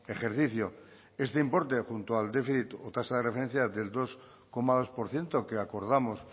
ejercicio este importe junto al déficit o tasa de referencia del dos coma dos por ciento que acordamos